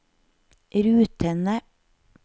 rutene